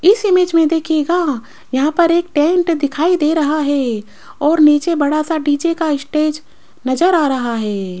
इस इमेज में देखिएगा यहां पर एक टेंट दिखाई दे रहा है और नीचे बड़ा सा डी_जे का स्टेज नजर आ रहा है।